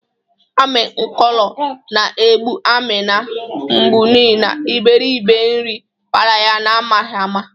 Ami nkolo na-egbụ Amina mgbụ n'ihi na iberibe nri bara ya na-amaghi ama.